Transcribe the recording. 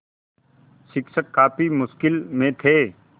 शिक्षक काफ़ी मुश्किल में थे